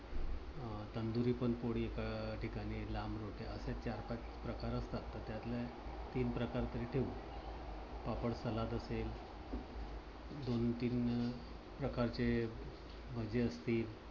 अं तंदुरी पण पोळी अह ठिकाणी लांब रोट्या असे चार पाच प्रकार असतात. तर त्यातले तीन प्रकार तरी ठेवू. पापड salad असेल. दोन तीन अं प्रकारचे भजे असतील.